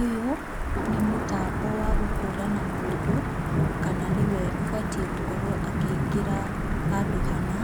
Ũyũ nĩ mũtambo wa gũkũrana mũndũ kana nĩwe ũbatiĩ gũkorwo akĩingĩra handũ hana